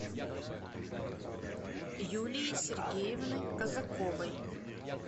юлии сергеевны казаковой